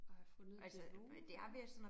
At have fundet et niveau ik